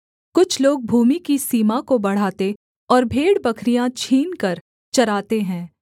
कुछ लोग भूमि की सीमा को बढ़ाते और भेड़बकरियाँ छीनकर चराते हैं